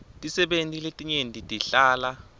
tisebenti letinyenti tihlala